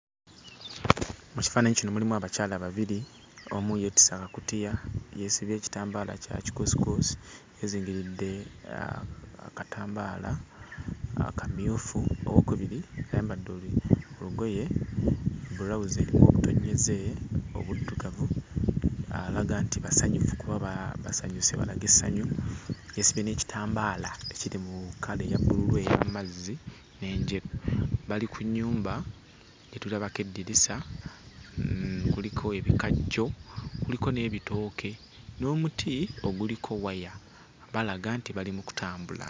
Mu kifaananyi kino mulimu abakyala babiri omu yeetisse akakutiya yeesibye ekitambaala kya kikuusikuusi yeezingiridde akatambaala kamyufu owookubiri ayambadde olugoye bbulawuzi erimu obutonnyeze obuddugavu alaga nti basanyufu kuba basanyuse balaga essanyu yeesibye n'ekitambaala kiri mu kkala eya bbululu ey'amazzi n'enjeru bali ku nnyumba gye tulabako eddirisa mm kuliko ebikajjo kuliko n'ebitooke n'omuti oguliko waya balaga nti bali mu kutambula.